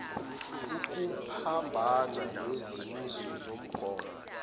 ukuphambana nezimiso zomgomo